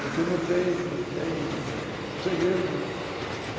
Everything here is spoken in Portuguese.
Porque não tem não tem, segredo, segredo não.